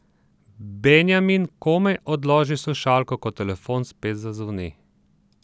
Benjamin komaj odloži slušalko, ko telefon spet zazvoni.